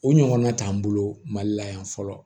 O ɲɔgɔnna t'an bolo mali la yan fɔlɔ